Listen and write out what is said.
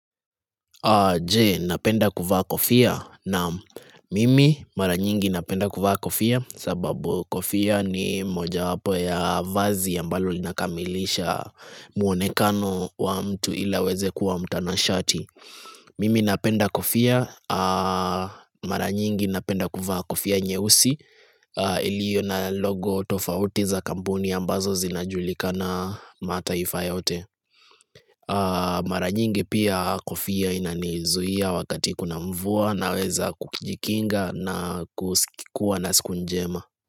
Je, napenda kuvaa kofia naam mimi mara nyingi napenda kuvaa kofia sababu kofia ni mojawapo ya vazi ambalo linakamilisha muonekano wa mtu ili aweze kuwa mtanashati. Mimi napenda kofia, mara nyingi napenda kuvaa kofia nyeusi iliyo na logo tofauti za kampuni ambazo zinajulikana mataifa yote. Mara nyingi pia kofia inanizuia wakati kuna mvua naweza kujikinga na kuwa na siku njema.